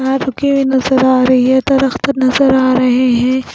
रुकी हुई नज़र आ रही है दरख्त नजर आ रहे हैं।